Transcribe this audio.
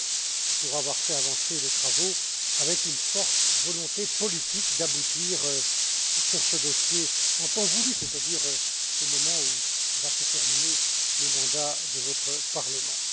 Lehne, pour avoir fait avancer les travaux avec une forte volonté politique d'aboutir sur ce dossier en temps voulu, c'est à dire au moment où va se terminer le mandat de votre Parlement.